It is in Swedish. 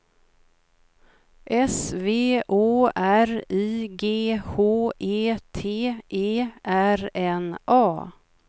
S V Å R I G H E T E R N A